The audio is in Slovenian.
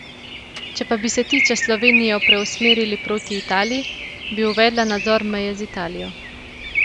Če pa bi se ti čez Slovenijo preusmerili proti Italiji, bi uvedla nadzor meje z Italijo.